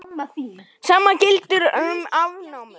Sama gildir um afnámu.